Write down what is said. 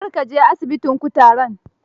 Kar ka je asibitin kutaren.